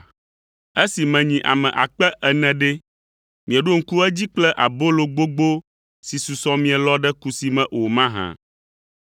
Esi menyi ame akpe ene (4,000) ɖe, mieɖo ŋku edzi kple abolo gbogbo si susɔ míelɔ ɖe kusi me o mahã?